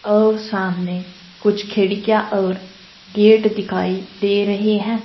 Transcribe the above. और सामने कुछ खिड़कियां और गेट दिखाई दे रहे हैं।